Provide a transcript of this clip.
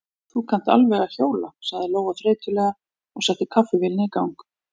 Þú kannt alveg að hjóla, sagði Lóa þreytulega og setti kaffivélina í gang.